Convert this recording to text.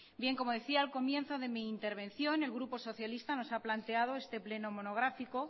como decía al comienzo de mi intervención el grupo socialista nos ha planteado este pleno monográfico